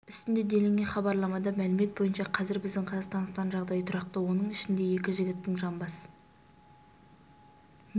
үстінде делінген хабарламада мәлімет бойынша қазір біздің қазақстандықтардың жағдайы тұрақты оның ішінде екі жігіттің жамбас